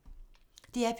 DR P2